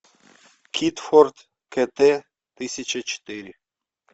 китфорт кт тысяча четыре